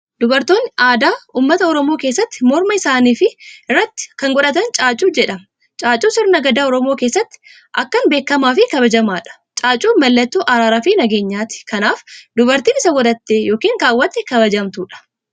Dubartoonni aadaa uummata Oromoo keessatti morma isaani fi irraatti kan godhatan caacuu jedhama. Caacuun sirna gadaa Oromoo keessatti akkan beekamaafi kabajamaadha. caacuun mallattoo araara fi nageenyati kanaaf dubartiin isa godhate ykn kawwate kabajamtuudha.